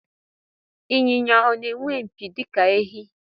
Ịnyịnya ọ na-enwe mpi dịka ehi?